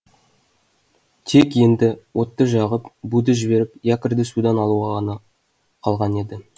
тек енді отты жағып буды жіберіп якорьды судан алу ғана қалған еді